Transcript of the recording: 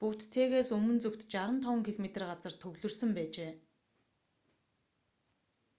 буттэгээс өмнө зүгт 65 км 40 миль газарт төвлөрсөн байжээ